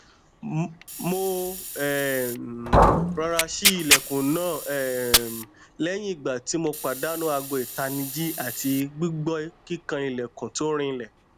mo um rọra ṣi ilẹkun naa um lẹyin igba ti mo padanu aago itaniji ati gbigbọ kikan ilẹkun to rinlẹ